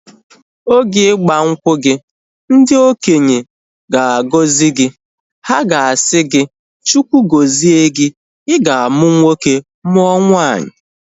Oge igbankwu gị, ndị okenye ga agọzi gị. Ha ga-asị gị, Chukwu gọzie gi. I ga amu nwoke mụọ nwanyi